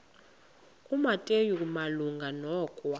kumateyu malunga nokwa